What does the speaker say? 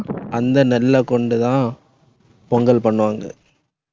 அந்த நெல்லை கொண்டுதான் பொங்கல் பண்ணுவாங்க.